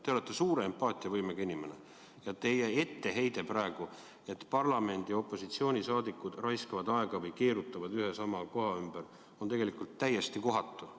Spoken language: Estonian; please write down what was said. Te olete suure empaatiavõimega inimene ja teie etteheide, et parlamendi opositsioonisaadikud raiskavad aega või keerutavad ühe ja sama koha ümber, on täiesti kohatu.